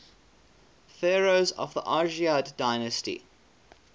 pharaohs of the argead dynasty